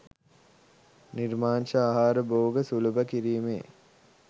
නිර්මාංශ ආහාර භෝග සුලභ කිරීමේ